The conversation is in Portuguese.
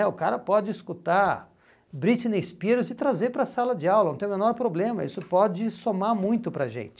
é, o cara pode escutar Britney Spears e trazer para a sala de aula, não tem o menor problema, isso pode somar muito para a gente.